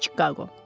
Çikaqo.